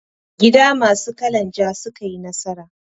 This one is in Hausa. Gida masu kalan ja ne suka yi nasara.